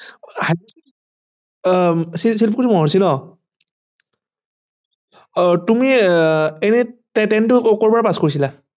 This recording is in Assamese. আহ তুমি এনে tenth টো কৰ পৰা pass কৰিছিলা